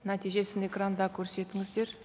нәтижесін экранда көрсетіңіздер